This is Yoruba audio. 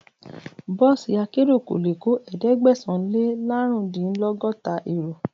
Bọ́ọ̀sì akérò kò lè kó ẹ̀ẹ́dẹ́gbẹ̀sán - lé -lárùndínlọ́gọ́ta èrò.